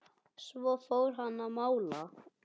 Svo fór hann að mála.